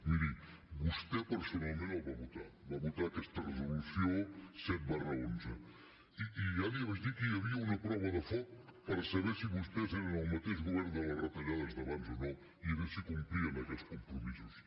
miri vostè personalment la va votar va votar aquesta resolució set onze i ja li vaig dir que hi havia una prova de foc per saber si vostès eren el mateix govern de les retallades d’abans o no i era si complien aquests compromisos